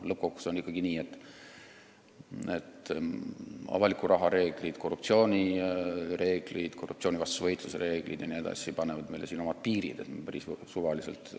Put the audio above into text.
Lõppkokkuvõttes on ikkagi nii, et avaliku raha reeglid, korruptsioonivastase võitluse reeglid jne panevad meie maksuseadustele omad piirid.